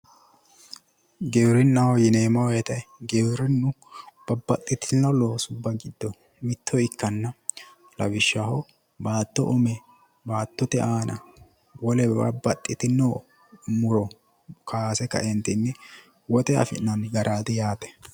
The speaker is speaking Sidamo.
Giwirinnaho yineemmo woyite giwirinnu babbaxxitino loosubba giddo mitto ikkanno. Baatto ume baattote aana wole babbaxxitino muro kaase kaeentinni woxe afi'nanni garaati yaate.